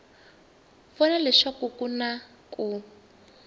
vona leswaku ku na ku